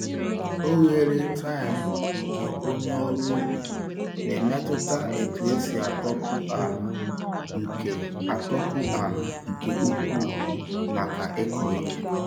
Oghere tine nke onye ọrụ ubi na-emetụta etu esi atọpụ ala nke atọpụ ala nke ukwuu maka ịkọ ihe.